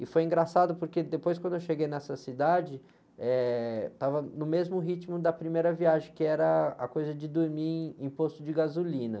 E foi engraçado porque depois quando eu cheguei nessa cidade, eh, estava no mesmo ritmo da primeira viagem, que era a coisa de dormir em posto de gasolina.